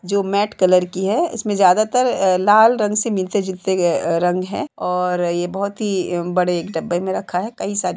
जो matte colour की है इसमें ज्यादा तर अ लाल रंग से मिलते झूलते रंग हैं और ये बहोत ही बड़े एक डब्बे मे रखा है; कई सारे --